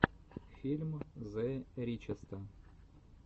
фильм зе ричеста